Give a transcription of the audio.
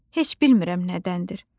Heç bilmirəm nədəndir.